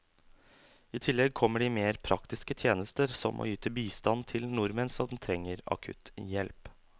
I tillegg kommer de mer praktiske tjenester som å yte bistand til nordmenn som trenger akutt hjelp.